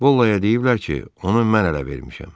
Bollaya deyiblər ki, onu mən ələ vermişəm.